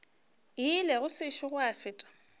ile go sešo gwa feta